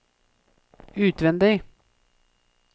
utvendig